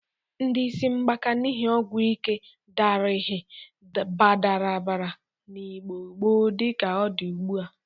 Ndị isi ngbaka n'ihi ọgwụ ike adarighị baradabara n'Igbo gboo dịka ọ dị ugbụ a.